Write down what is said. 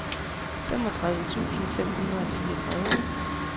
femogtredive tusind fem hundrede og fireogtredive